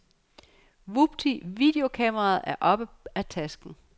Vupti, videokameraet er oppe af tasken.